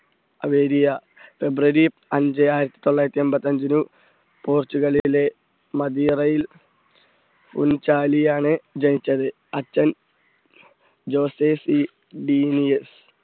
ഫെബ്രുവരി അഞ്ച് ആയിരത്തി തൊള്ളായിരത്തി എൺപത്തഞ്ച് ഒരു പോർച്ചുഗലിലെ മതിയറയിൽ ഉൻഞ്ചാലിയാണ് ജനിച്ചത് അച്ഛൻ ജോസ്റ്റെർസി ഡീനിയസ്